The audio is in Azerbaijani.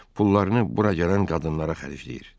pullarını bura gələn qadınlara xərcləyir.